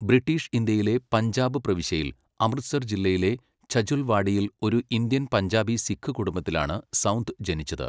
British ഇന്ത്യയിലെ പഞ്ചാബ് പ്രവിശ്യയിൽ, അമൃത്സർ ജില്ലയിലെ ഛജുൽവാഡിയിൽ ഒരു ഇന്ത്യൻ പഞ്ചാബി സിഖ് കുടുംബത്തിലാണ് സൗന്ദ് ജനിച്ചത്.